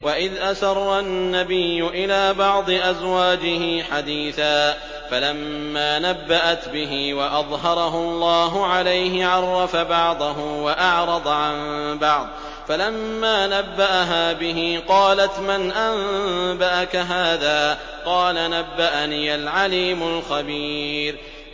وَإِذْ أَسَرَّ النَّبِيُّ إِلَىٰ بَعْضِ أَزْوَاجِهِ حَدِيثًا فَلَمَّا نَبَّأَتْ بِهِ وَأَظْهَرَهُ اللَّهُ عَلَيْهِ عَرَّفَ بَعْضَهُ وَأَعْرَضَ عَن بَعْضٍ ۖ فَلَمَّا نَبَّأَهَا بِهِ قَالَتْ مَنْ أَنبَأَكَ هَٰذَا ۖ قَالَ نَبَّأَنِيَ الْعَلِيمُ الْخَبِيرُ